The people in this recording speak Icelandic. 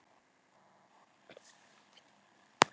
Af hverju ætti þetta að vera auðveldara en aðrir leikir?